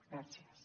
gràcies